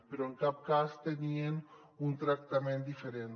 però en cap cas tenien un tractament diferent